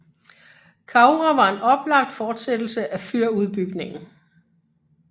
Kaura var en oplagt fortsættelse af fyrudbygningen